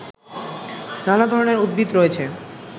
নানা ধরনের উদ্ভিদ রয়েছে